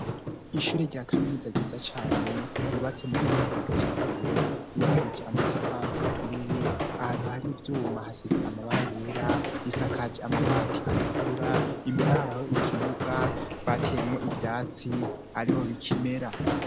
Ishure rya kaminuza ryiza cane ryubatse mu buhinda bwakijambere ryubakije amatafari aturiye ahantu hari ivyuma hasize amabara yera isakaje amabati atukura imbere ahariho ikibuga bateyemwo ivyatsi ariho bikimera.